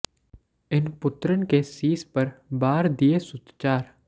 ਇਨ ਪੁਤ੍ਰਨ ਕੇ ਸੀਸ ਪਰ ਬਾਰ ਦੀਏ ਸੁਤ ਚਾਰ